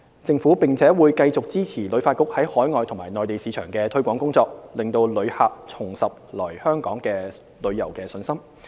政府並會繼續支持旅發局在海外及內地市場的推廣工作，令旅客重拾來港旅遊的信心。